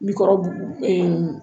Bikɔrɔ